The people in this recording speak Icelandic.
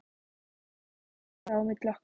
Það gerðist ekkert á milli okkar.